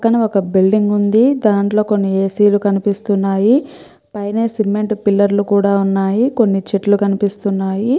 మొత్తం ఒక బిల్డింగ్ ఉంది దానిలో కొన్ని ఏసి లు కనిపిస్తున్నాయి పైన సిమెంట్ పిల్లర్ లు కూడా ఉన్నాయి కొన్ని చెట్లు కనిపిస్తూన్నాయి.